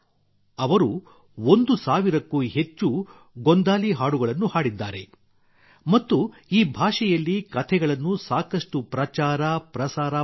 ಅವರು 1000 ಕ್ಕೂ ಹೆಚ್ಚು ಗೋಂಧಳಿ ಹಾಡುಗಳನ್ನು ಹಾಡಿದ್ದಾರೆ ಮತ್ತು ಈ ಭಾಷೆಯಲ್ಲಿ ಕಥೆಗಳನ್ನು ಸಾಕಷ್ಟು ಪ್ರಚಾರಪ್ರಸಾರ ಮಾಡಿದ್ದಾರೆ